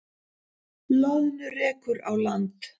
Loðnu rekur á land